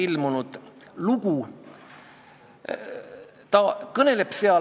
Ja loomulikult otsitakse üheskoos võimalusi riigikeele oskust parandada ja ka riigikeele staatust ühiskonnas hoida ja tugevdada.